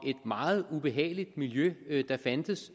meget ubehageligt miljø der fandtes